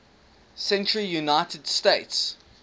century united states